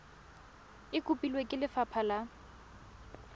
e kopilwe ke lefapha la